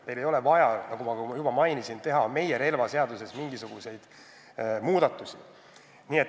Meil ei ole vaja, nagu ma juba mainisin, teha meie relvaseaduses mingisuguseid muid muudatusi.